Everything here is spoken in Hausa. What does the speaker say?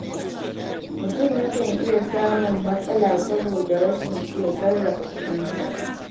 Mutum yakan iya samun matsala saboda rashin iya sarrafa kuɗinsa.